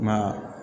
Ma